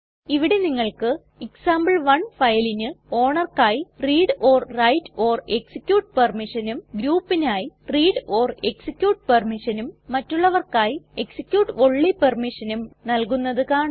ഇവിടെ നിങ്ങൾക്ക് എക്സാംപിൾ1 ഫയലിന് ownerക്കായി readwriteഎക്സിക്യൂട്ട് permissionഉം groupനായി readഎക്സിക്യൂട്ട് permissionഉം മറ്റുള്ളവർക്കായി execute ഓൺലി permissionഉം നൽകുന്നത് കാണാം